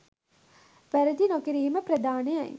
වැරදි නොකිරීම ප්‍රධානයි